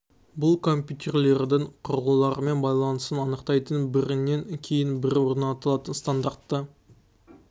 бұл компьютерлердің құрылғылармен байланысын анықтайтын бірінен кейін бірі орындалатын стандарты